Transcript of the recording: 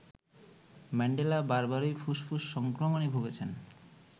Mandela বারবারই ফুসফুস সংক্রমণে ভুগেছেন